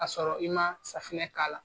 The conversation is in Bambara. A sɔrɔ i ma safinɛ k'a la.